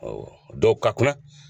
Ɔn dɔw ka kunna.